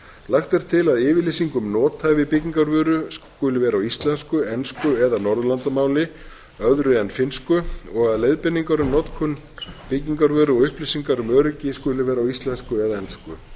lagt er til að yfirlýsing um nothæfi byggingarvöru skuli vera á íslensku ensku eða norðurlandamáli öðru en finnsku og að leiðbeiningar um notkun byggingarvöru og upplýsingar um öryggi skuli vera á íslensku eða ensku